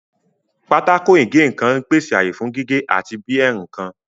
Pákó ìgé nǹkan ń pèsè ààyè fún gígé àti bí ẹ́ nǹkan